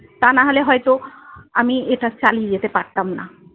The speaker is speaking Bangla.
তা নাহলে হয়তো আমি এটা চালিয়ে যেতে পারতাম না।